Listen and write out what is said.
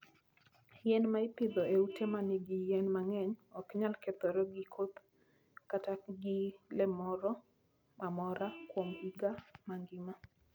Yien ma ipidho e ute ma nigi yien mang'eny ok nyal kethore gi koth kata gi le moro amora kuom higa mangima.